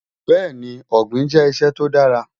Bẹ́ẹni, Ogbin jẹ́ iṣẹ́ tó dàrà.